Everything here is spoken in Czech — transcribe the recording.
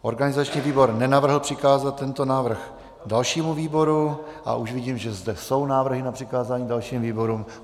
Organizační výbor nenavrhl přikázat tento návrh dalšímu výboru a už vidím, že zde jsou návrhy na přikázání dalším výborům.